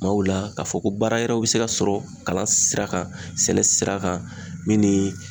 Kumaw la k'a fɔ ko baara wɛrɛw be se ka sɔrɔ kalan sira kan sɛnɛ sira kan min ni